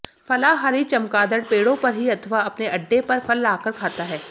फलाहारी चमगादड़ पेड़ों पर ही अथवा अपने अड्डे पर फल लाकर खाता है